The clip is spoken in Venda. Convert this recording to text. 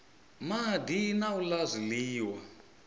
madi na u la zwiliwa